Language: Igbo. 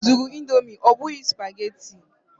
Zụrụ Indomi ọ bụghị spageti!